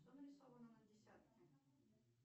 что нарисовано на десятке